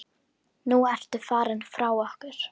Nú ertu farinn frá okkur.